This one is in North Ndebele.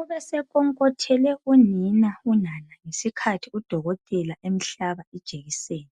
Ubesekhonkothele kunina unana ngesikhathi udokotela emhlaba ijekiseni.